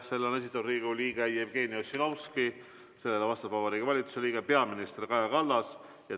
Selle on esitanud Riigikogu liige Jevgeni Ossinovski, vastab Vabariigi Valitsuse liige peaminister Kaja Kallas.